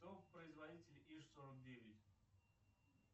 кто производитель иж сорок девять